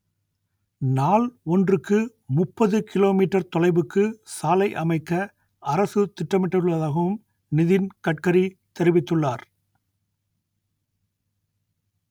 நாள் ஒன்றுக்கு முப்பது கிலோ மீட்டர் தொலைவுக்கு சாலை அமைக்க அரசு திட்டமிட்டுள்ளதாகவும் நிதின் கட்கரி தெரிவித்துள்ளார்